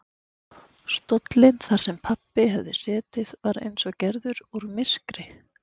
Stóllinn þar sem pabbi hafði setið var eins og gerður úr myrkri.